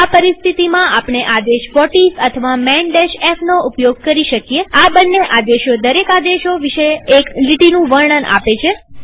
આ પરિસ્થિતિમાં આપણે આદેશ વ્હોટિસ અથવા માન fનો ઉપયોગ કરી શકીએઆ બંને આદેશો દરેક આદેશ વિશે એક લીટીનું વર્ણન આપે છે